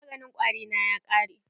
Maganin kwari na ya ƙare.